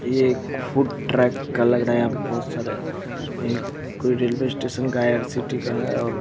ये एक food track का लग रहा है यहाँ पर बहुत सारा कोई रेलवे स्टेशन का एयर सिटी का है और --